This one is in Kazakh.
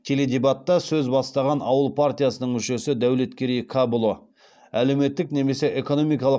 теледебатта сөз бастаған ауыл партиясының мүшесі дәулеткерей кәпұлы әлеуметтік немесе экономикалық